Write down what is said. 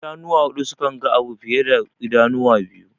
Idanuwa huɗu sukanga abu fiye da idanuwa biyu.